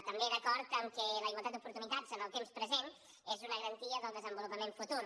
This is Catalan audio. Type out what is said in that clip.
també d’acord que la igualtat d’oportunitats en el temps present és una garantia del desenvolupament futur